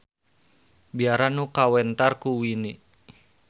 Biara nu kawentar ku wine